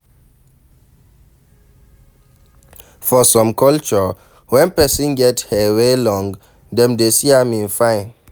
For some culture, when person get hair wey long dem dey see am sey im fine